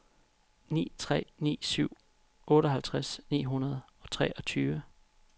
ni tre ni syv otteoghalvtreds ni hundrede og treogtyve